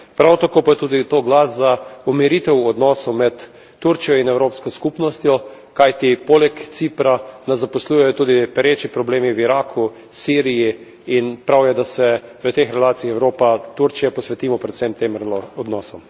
Prav tako pa je tudi to glas za umiritev odnosov med Turčijo in Evropsko skupnostjo, kajti poleg Cipra nas zaposlujejo tudi pereči problemi v Iraku, Siriji, in prav je, da se na tej relaciji Evropa Turčija posvetimo predvsem tem odnosom.